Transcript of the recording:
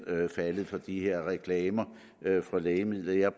faldet for de her reklamer for lægemidler jeg